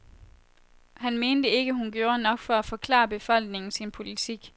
Han mente ikke, hun gjorde nok for at forklare befolkningen sin politik.